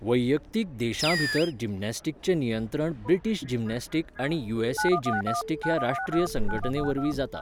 वैयक्तीक देशांभितर जिमनास्टीकचें नियंत्रण ब्रिटीश जिमनॅस्टीक आनी यूएसए जिमनॅस्टीक ह्या राश्ट्रीय संघटनेवरवीं जाता.